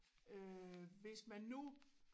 Øh hvis man nu